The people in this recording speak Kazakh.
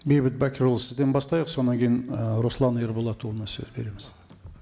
бейбіт бәкірұлы сізден бастайық содан кейін і руслан ерболатұлына сөз береміз